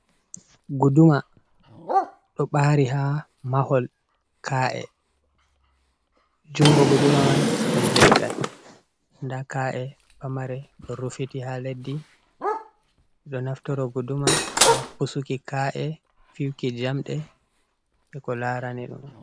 Guduma, ɗo ɓaari ha mahol ka’e, jungo guduma man ɗum leggal, nda ka’e pamare ɗo rufiti ha leddi, ɗo naftoro guduma ha pusuki ka’e, fiyuki jamɗe be ko laarani ɗum.